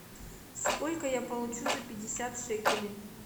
сколько я получу за пятьдесят шекелей